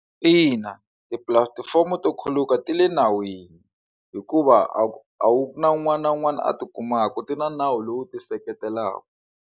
Ina, tipulatifomo to khuluka ti le nawini hikuva a wu a wu na un'wana na un'wana a tikumaka ti na nawu lowu tiseketelaka.